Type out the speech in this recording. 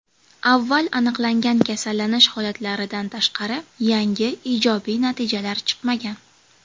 Avval aniqlangan kasallanish holatlaridan tashqari, yangi ijobiy natijalar chiqmagan.